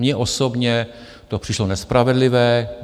Mně osobně to přišlo nespravedlivé.